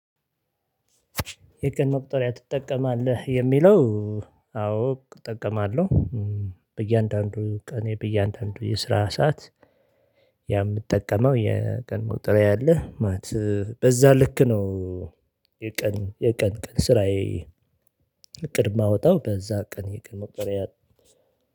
የቀን መቁጠሪያ ትጠቀማለህ? የሚለው አዎ እጠቀማለሁ በእያንዳንዱ ቀኔ በእያንዳንዱ የስራ ሰዓት የምጠቀመው የቀን መቁጠሪያ አለ ማለት በዛ ልክ ነው። የቀን የቀን ቀን ስራዬ እቅድ እማወጣው በዛ ቀን የቀንመቁጠሪያ ነው